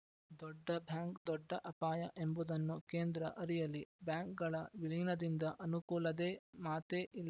ದೊಡ್ಡ ಬ್ಯಾಂಕ್‌ದೊಡ್ಡ ಅಪಾಯ ಎಂಬುದನ್ನು ಕೇಂದ್ರ ಅರಿಯಲಿ ಬ್ಯಾಂಕ್‌ಗಳ ವಿಲೀನದಿಂದ ಅನುಕೂಲದೇ ಮಾತೇ ಇಲ್ಲ